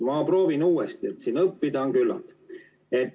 Ma proovin uuesti, õppida on siin küllalt.